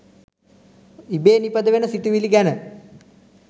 ඉබේ නිපදවෙන සිතුවිලි ගැන